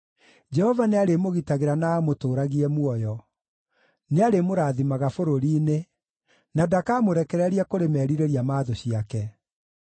Jehova nĩarĩmũgitagĩra na amũtũũragie muoyo; nĩarĩmũrathimaga bũrũri-inĩ, na ndakamũrekereria kũrĩ merirĩria ma thũ ciake.